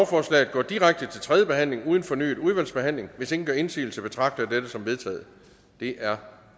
går direkte til tredje behandling uden fornyet udvalgsbehandling hvis ingen gør indsigelse betragter jeg dette som vedtaget det er